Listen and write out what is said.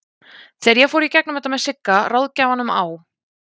Þegar ég fór í gegnum þetta með Sigga, ráðgjafanum á